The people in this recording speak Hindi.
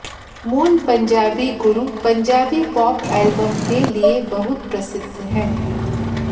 मूल पंजाबी गुरु पंजाबी पॉप एल्बम के लिए बहुत प्रसिद्ध है